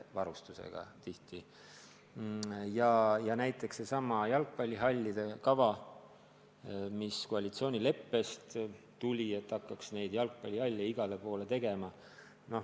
Või võtame sellesama jalgpallihallide kava, mis koalitsioonileppes kirjas on: et hakkaks igale poole jalgpallihalle ehitama.